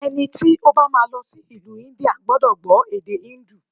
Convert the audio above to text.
Ẹni tí ó bá má a lọ sí ìlú India gbúdọ̀ gbó èdè híńdù.